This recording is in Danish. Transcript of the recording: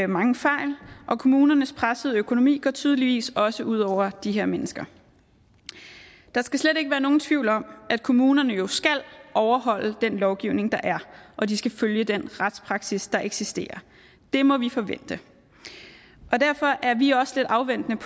mange fejl og kommunernes pressede økonomi går tydeligvis også ud over de her mennesker der skal slet ikke være nogen tvivl om at kommunerne jo skal overholde den lovgivning der er og de skal følge den retspraksis der eksisterer det må vi forvente derfor er vi også lidt afventende